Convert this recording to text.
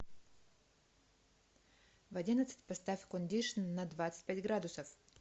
в одиннадцать поставь кондишн на двадцать пять градусов